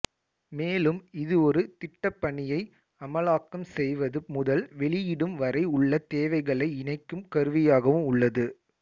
மேலும் இது ஒரு திட்டப்பணியை அமலாக்கம் செய்வது முதல் வெளியிடும் வரை உள்ள தேவைகளை இணைக்கும் கருவியாகவும் உள்ளது